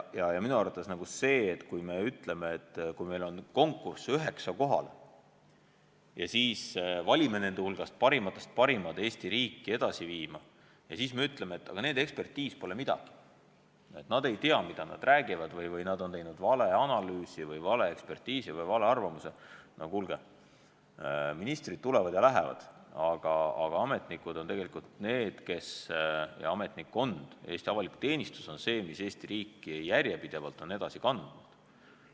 Ja minu arvates on nii, et kui me ütleme, et meil on konkurss üheksa inimest kohale ja me valime nende hulgast parimatest parimad Eesti riiki edasi viima, siis aga ütleme, et nende ekspertiis pole midagi väärt, et nad ei tea, mida nad räägivad, või nad on teinud vale analüüsi või vale ekspertiisi – no kuulge, ministrid tulevad ja lähevad, aga ametnikkond, Eesti avalik teenistus on see, mis Eesti riiki tegelikult on järjepidevalt edasi kandnud.